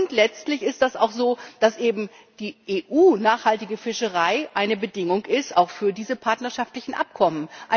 Und letztlich ist das auch so, dass für die EU nachhaltige Fischerei eine Bedingung ist für diese partnerschaftlichen Abkommen.